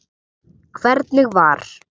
Hvernig var?